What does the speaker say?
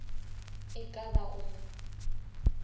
e ka ba go mo